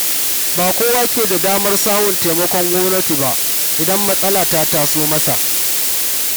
Ba kowa ke da damar samun taimakon gwamnati ba, idan matsala ta taso masa.